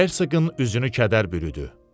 Hersoqın üzünü kədər bürüdü.